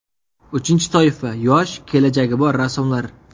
Uchinchi toifa yosh, kelajagi bor rassomlar.